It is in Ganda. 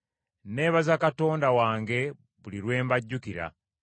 Nneebaza Katonda wange buli lwe mbajjukira,